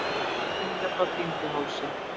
Trölladyngja frá Dyngjuhálsi